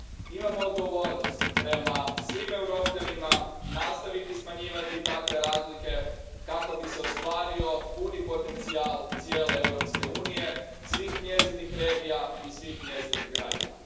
Imam odgovornost prema svim Europljanima nastaviti smanjivati takve razlike, kako bi se ostvario puni potencijal cijele Europske unije, svih njezinih regija i svih njezinih građana.